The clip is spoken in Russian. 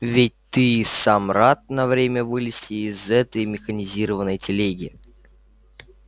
ведь ты и сам рад на время вылезти из этой механизированной телеги